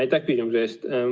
Aitäh küsimuse eest!